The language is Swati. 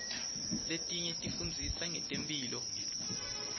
letinye tifundzisa ngetemphilo